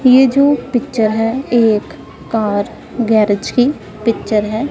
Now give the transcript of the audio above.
ये जो पिक्चर है एक कार गैरेज की पिक्चर है।